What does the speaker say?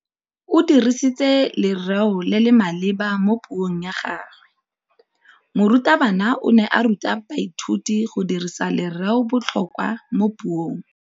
O dirisitse lerêo le le maleba mo puông ya gagwe. Morutabana o ne a ruta baithuti go dirisa lêrêôbotlhôkwa mo puong.